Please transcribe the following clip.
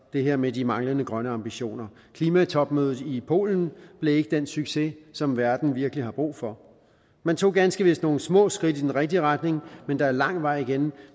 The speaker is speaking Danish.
det her med de manglende grønne ambitioner klimatopmødet i polen blev ikke den succes som verden virkelig har brug for man tog ganske vist nogle små skridt i den rigtige retning men der er lang vej igen